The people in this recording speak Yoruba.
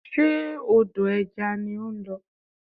Ṣe odò ẹja ni ó ń lọ?